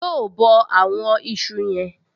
Yóò bọ àwọn ìṣù yen